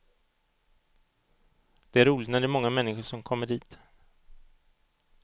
Det är roligt när det är många människor som kommer dit.